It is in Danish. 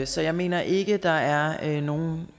så jeg mener ikke der er nogen